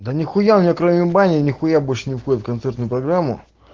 да нихуя у меня кроме бани нихуя больше не входит в концертную программу